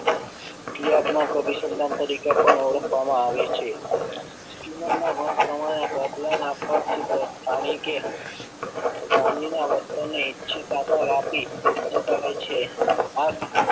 ક્રિયાત્મક અભિસંધાન તરીકે પણ ઓળખવામાં આવે છે જીવનના મત પ્રમાણે આ પ્રબલન માંથી જાણી કે માનવી ના વર્તન ને ઇચ્છિત આકાર આપી કરાય છે. આ